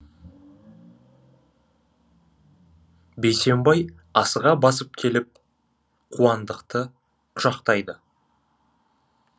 бейсенбай асыға басып келіп қуандықты құшақтайды